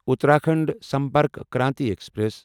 Uttarakhand Sampark Kranti express